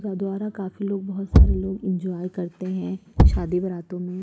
बोहोत सारे लोग एंजॉय करते हैं शादी बारातों में --